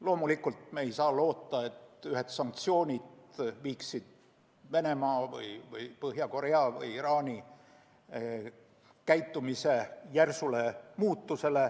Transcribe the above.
Loomulikult ei saa me loota, et sanktsioonid tooksid kaasa Venemaa või Põhja-Korea või Iraani käitumise järsu muutumise.